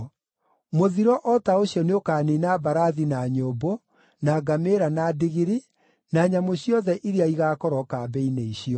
Mũthiro o ta ũcio nĩũkaniina mbarathi na nyũmbũ, na ngamĩĩra na ndigiri, na nyamũ ciothe iria igaakorwo kambĩ-inĩ icio.